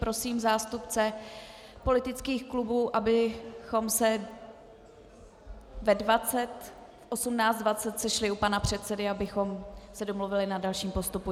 Prosím zástupce politických klubů, abychom se v 18.20 sešli u pana předsedy, abychom se domluvili na dalším postupu.